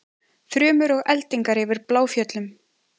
Þrumur og eldingar yfir Bláfjöllum